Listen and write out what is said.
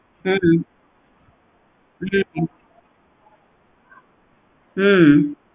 ஹம் ஹம் ஹம்